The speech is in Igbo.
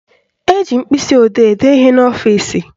Eji mkpịsịodee ede ihe n'ọfịsi